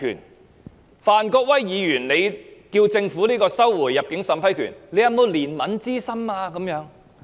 當范國威議員要求政府收回入境審批權時，當局卻問他有否憐憫之心？